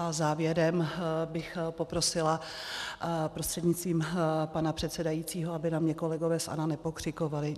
A závěrem bych poprosila prostřednictvím pana předsedajícího, aby na mě kolegové z ANO nepokřikovali.